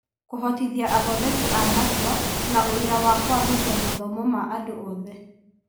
Kũhotithia athondeki a matua na ũira wa kũagĩria mathomo ma andũ othe